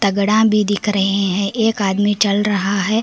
गोदाम भी दिख रहे हैं एक आदमी चल रहा है।